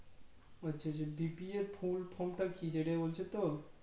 আচ্ছা আচ্ছা BPLFull From টা কি সেটা বলছো তো